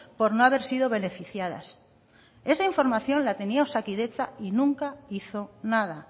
por no haber sido beneficiadas esa información la tenía osakidetza y nunca hizo nada